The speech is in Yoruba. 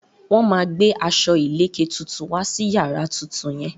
Wọ́n máa gbé aṣọ ìlèkè tuntun wá sí yàrá tuntun yẹn.